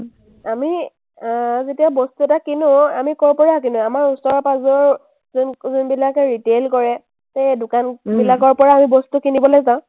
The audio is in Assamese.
আমি আহ যেতিয়া বস্তু এটা কিনো, আমি ক’ৰ পৰা কিনো, আমাৰ ওচৰ-পাজৰৰ যোনবিলাকে retail কৰে, সেই দোকানবিলাকৰ পৰা আমি বস্তু কিনিবলৈ যাওঁ